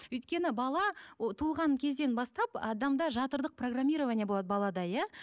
өйткені бала туылған кезден бастап адамда жатырлық программирование болады балада иә